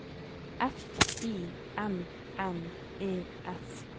F I N N E S